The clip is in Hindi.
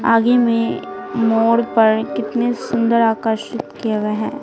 आगे में मोड़ पर कितने सुंदर आकर्षित किए हुए हैं।